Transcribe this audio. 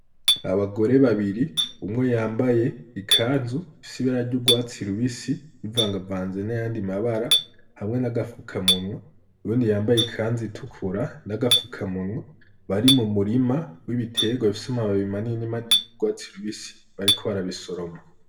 Abagore babiri umwo yambaye ikazu isibara ry'urwatsi lubisi ivangavanze n'ayandi mabara hamwe n'agafuka munwa urundi yambaye ikanzi itukura n'agafuka munwa bari mu murima w'ibiterwa vyomababi imanini mani rye urwatsi i lubisi bariko barabisoroma.